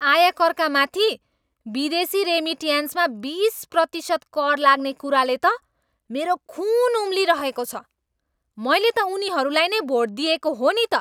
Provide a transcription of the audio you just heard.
आयकरका माथि विदेशी रेमिट्यान्समा बिस प्रतिशत कर लाग्ने कुराले त मेरो खुन उमालिरहेको छ। मैले त उनीहरूलाई नै भोट दिएको हो नि त।